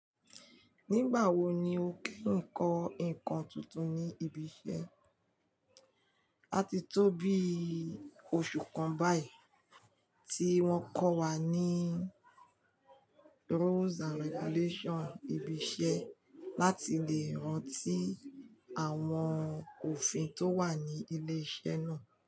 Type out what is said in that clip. Nígbà wo ni o kí n kọ nǹkan tuntun ní ibi iṣẹ́? A ti tó bí oṣù kan báyìí tí wọ́n kọ́ wa ní rules and regulations ibi iṣẹ́ láti lè rántí àwọn òfin tó wà ní ilé iṣẹ́ náà.